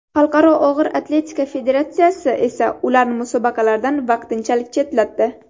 Xalqaro og‘ir atletika federatsiyasi esa ularni musobaqalardan vaqtinchalik chetlatdi.